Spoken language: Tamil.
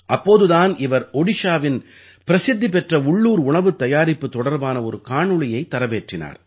அப்போது தான் இவர் ஓடிஷாவின் பிரசித்தி பெற்ற உள்ளூர் உணவுத் தயாரிப்பு தொடர்பான ஒரு காணொளியைத் தரவேற்றினார்